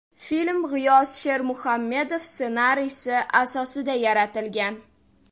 Film G‘iyos Shermuhammedov ssenariysi asosida yaratilgan.